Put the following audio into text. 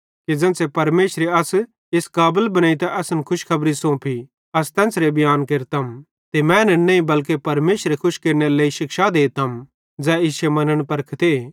पन ज़ेन्च़रे परमेशरे अस इस काबल बनेइतां असन खुशखबरी सोंफी अस तेन्च़रे बियांन केरतम ते मैनन् नईं बल्के परमेशरे खुश केरनेरे लेइ शिक्षा देतम ज़ै इश्शे मन्न परखते